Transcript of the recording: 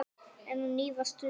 Enn á ný var sungið.